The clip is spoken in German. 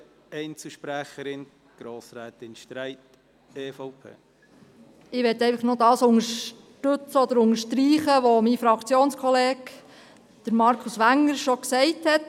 Ich möchte noch unterstreichen, was mein Fraktionskollege Markus Wenger schon gesagt hat.